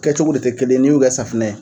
Kɛ cogo de tɛ kelen ye n'u kɛ safunɛ ye.